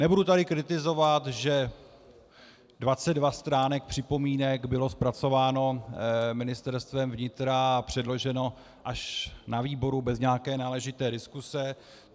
Nebudu tady kritizovat, že 22 stránek připomínek bylo zpracováno Ministerstvem vnitra a předloženo až na výboru bez nějaké náležité diskuse.